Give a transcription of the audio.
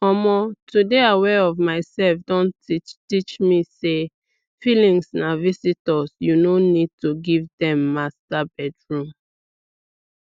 omo to dey aware of myself don teach teach me say feelings na visitors you no need to give dem master bedroom